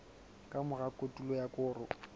ka mora kotulo ya koro